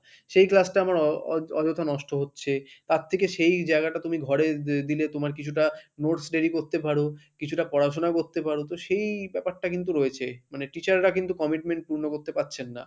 সেই class টা আমার অযথা নষ্ট হচ্ছে, তার থেকে সেই জায়গাটা তুমি ঘরে দিলে তোমার কিছুটা notes ready করতে পারো কিছুটা পড়াশোনা করতে পারো তো সেই ব্যাপারটা কিন্তু রয়েছে মানে teacher রা কিন্তু commitment পূর্ণ করতে পারছেন না।